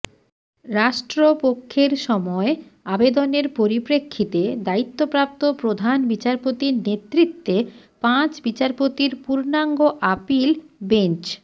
রাষ্ট্রপক্ষের সময় আবেদনের পরিপ্রেক্ষিতে দ্বায়িত্বপ্রাপ্ত প্রধান বিচারপতির নেতৃত্বে পাঁচ বিচারপতির পূর্ণাঙ্গ আপিল বেঞ্চ